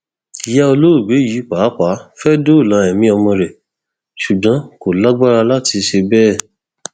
ìyá olóògbé yìí pàápàá fẹẹ dóòlà ẹmí ọmọ rẹ ṣùgbọn kò lágbára láti ṣe bẹẹ